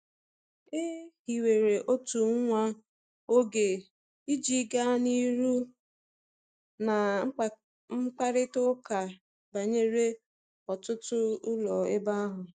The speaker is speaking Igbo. E hiwere otu nwa oge iji gaa n’ihu na mkparịta ụka banyere ọtụtụ ụlọ n’ebe ahụ.